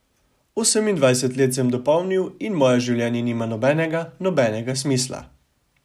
Osemindvajset let sem dopolnil in moje življenje nima nobenega, nobenega smisla.